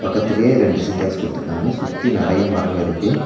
பக்கத்லயே ரெண்டு சின்டெக்ஸ் குடுத்துருக்காங்க சுத்தி நறைய மரங்க இருக்கு.